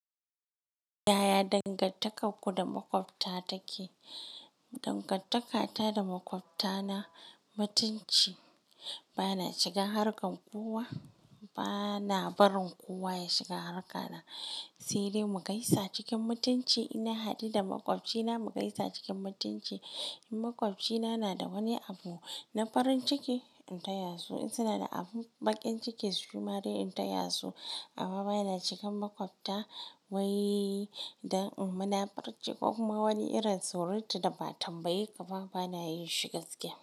Yaya dangantakarku da maƙwabta take? Dangantakata da maƙwabta na mutunci. Bana shigan harkan kowa, bana barin kowa ya shiga harka na. Sai dai, mugaisa cikin mutunci in na haɗu da maƙwabci na. Mugaisa cikin mutunci in maƙwabci na na da wani abu na farin ciki in taya su, in suna da abun ɓakin ciki shima duk in taya su. Amma bana shigan maƙwabta wai dan munafurci ko kuma wani irin surutu da ba'a tambaye ka ba bana yin shi gaskiya.